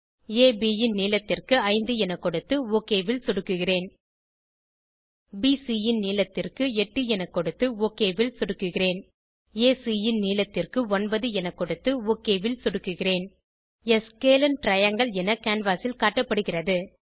அப் ன் நீளத்திற்கு 5 என கொடுத்து ஒக் ல் சொடுக்குகிறேன் பிசி ன் நீளத்திற்கு 8 என கொடுத்து ஒக் ல் சொடுக்குகிறேன் ஏசி ன் நீளத்திற்கு 9 என கொடுத்து ஒக் ல் சொடுக்குகிறேன் ஆ ஸ்கேலின் டிரையாங்கில் என கேன்வாஸ் ல் காட்டப்படுகிறது